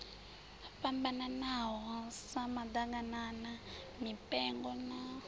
fhambananaho sa maḓaganana mipengo na